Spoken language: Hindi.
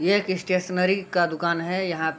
ये एक स्टेशनरी का दुकान है यहाँ --